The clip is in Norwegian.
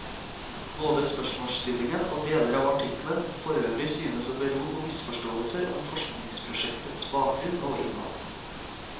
Både spørsmålsstillingen og deler av artikkelen forøvrig synes å bero på misforståelser om forskningsprosjektets bakgrunn og innhold.